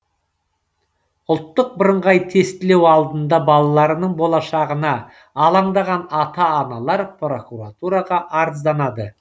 ұлттық бірыңғай тестілеу алдында балаларының болашағына алаңдаған ата аналар прокуратураға арызданады